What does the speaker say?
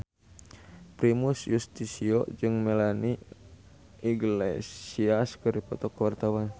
Primus Yustisio jeung Melanie Iglesias keur dipoto ku wartawan